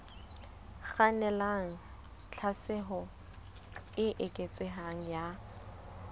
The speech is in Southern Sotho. kgannelang tlhaselong e eketsehang ya